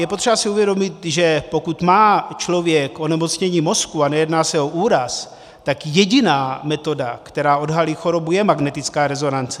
Je potřeba si uvědomit, že pokud má člověk onemocnění mozku, a nejedná se o úraz, tak jediná metoda, která odhalí chorobu, je magnetická rezonance.